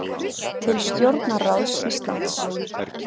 Til stjórnarráðs Íslands